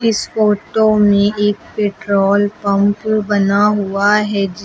इस फोटो में एक पेट्रोल पंप बना हुआ है जिस